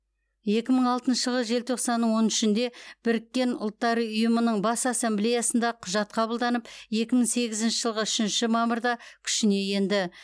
екі мың алтыншы жылғы желтоқсанның он үшінде біріккен ұлттар ұйымының бас ассамблеясында құжат қабылданып екі мың сегізінші жылғы үшінші мамырда күшіне енді